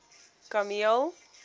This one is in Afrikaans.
kameel